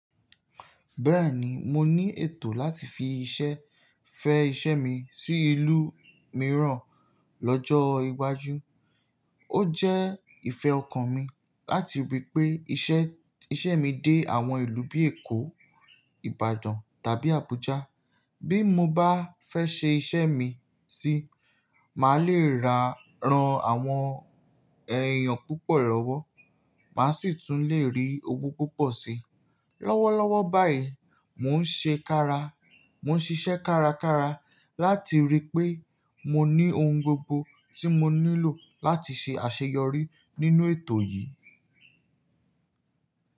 Bẹ́ẹ̀ni, mo ní ètò láti fi iṣẹ́ fẹ́ iṣẹ́ mi sí ìlú mìíràn lọ́jọ́ iwájú. Ó jẹ́ ìfẹ́ ọkàn mi láti rí pé iṣẹ́, iṣẹ́ mi dé àwọn ìlú bíi Èkó, Ìbàdàn tàbí Abuja. Bí mo bá fẹ́ ṣe iṣẹ́ mi síi, màá leè rà ran àwọn èèyàn púpọ̀ lọ́wọ́, màá sì tún le rí owó púpọ̀ si. Lọ́wọ́lọ́wọ́ báyìí mò ń ṣe ká ra, mò ń ṣiṣẹ́ kárakára láti rí pé mo ní ohun gbogbo tí mo nílò láti ṣe àṣeyọrí nínú ètò yìí.